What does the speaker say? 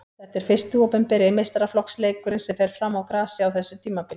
Þetta er fyrsti opinberi meistaraflokksleikurinn sem fer fram á grasi á þessu tímabili.